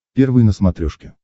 первый на смотрешке